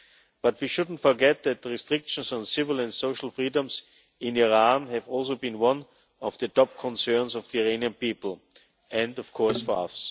But we shouldn't forget that the restrictions on civil and social freedoms in Iran have also been one of the top concerns of the Iranian people and of course for us.